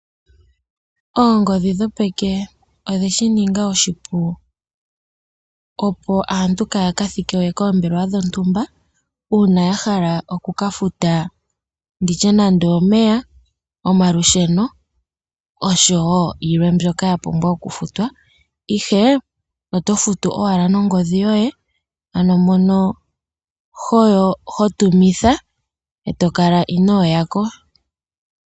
Oongodhi dhopeke odhe shi ningi oshipu opo aantu kaya ka thike koombelewa dhontumba una ya hala oku ka futa nditye nande omeya, omalusheno oshowo yilwe mbyoka ya pumbwa oku futwa ihe oto futu owala nongodhi yoye ano mono ho tumitha eto kala ino yako.